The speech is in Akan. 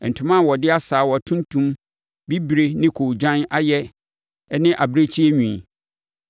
ntoma a wɔde asaawa tuntum, bibire ne koogyan ayɛ ne abirekyie nwi,